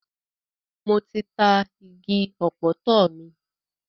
Mo ti ta igi ọ̀pọ̀tọ́ mi.